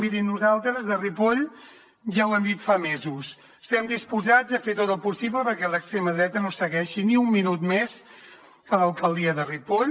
miri nosaltres a ripoll ja ho hem dit fa mesos estem disposats a fer tot el possible perquè l’extrema dreta no segueixi ni un minut més a l’alcaldia de ripoll